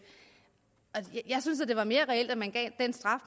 synes at det var mere reelt at man gav den straf